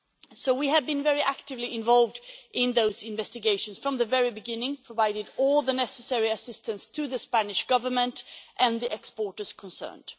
So we have been actively involved in those investigations from the very beginning, and have provided all the necessary assistance to the Spanish Government and the exporters concerned.